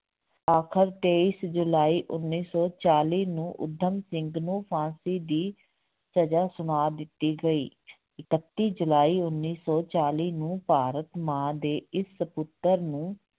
ਆਖਰ ਤੇਈਸ ਜੁਲਾਈ ਉੱਨੀ ਸੌ ਚਾਲੀ ਨੂੰ ਊਧਮ ਸਿੰਘ ਨੂੰ ਫ਼ਾਂਸੀ ਦੀ ਸਜ਼ਾ ਸੁਣਾ ਦਿੱਤੀ ਗਈ ਇਕੱਤੀ ਜੁਲਾਈ ਉੱਨੀ ਸੌ ਚਾਲੀ ਨੂੰ ਭਾਰਤ ਮਾਂ ਦੇ ਇਸ ਪੁੱਤਰ ਨੂੰ